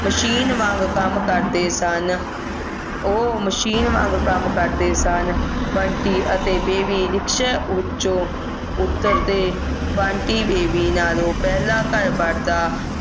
machine ਵਾਂਗ ਕੰਮ ਕਰਦੇ ਸਨ ਉਹ machine ਵਾਂਗ ਕੰਮ ਕਰਦੇ ਸਨ ਬੰਟੀ ਅਤੇ ਬੇਬੀ ਰਿਕਸ਼ੇ ਵਿੱਚੋਂ ਉੱਤਰਦੇ ਬੰਟੀ ਬੇਬੀ ਨਾਲੋਂ ਪਹਿਲਾਂ ਘਰ ਵੜਦਾ